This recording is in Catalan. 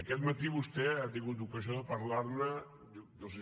aquest matí vostè ha tingut ocasió de parlar ne no ho sé